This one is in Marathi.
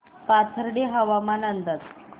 पाथर्डी हवामान अंदाज